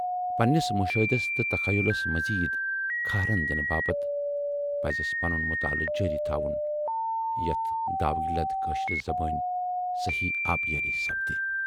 پننِس مُشٲہِدس تہٕ تخیلُس مزیٖد کھہرن دِنہٕ باپتھ پَزس پنُن مُطالہٕ جٲری تھاوُن یتھ داوٕگ لد کٲشرِ زبٲنۍ صحٔی آبیٲری سپدِ۔